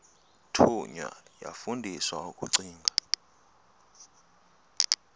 thunywa yafundiswa ukugcina